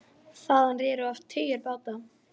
Þaðan réru oft tugir báta.